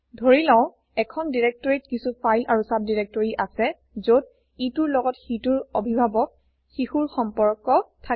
ধৰি লও এখন দিৰেক্তৰিত কিছো ফাইল আৰু ছাবডাইৰেক্টৰী আছে যত ইটোৰ লগত সিটোৰ অভিভাৱক শিশুৰ সমপৰ্ক থাকে